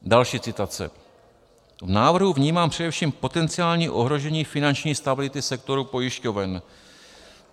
Další citace: V návrhu vnímám především potenciální ohrožení finanční stability sektoru pojišťoven.